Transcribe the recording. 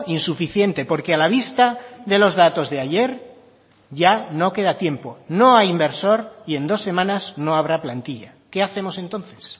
insuficiente porque a la vista de los datos de ayer ya no queda tiempo no hay inversor y en dos semanas no habrá plantilla qué hacemos entonces